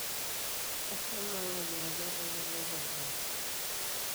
ashomo ang ayiaraki olpayian lai endaa